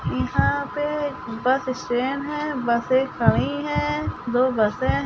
इहा पे bus stand है बसे खड़ी है दो बसे --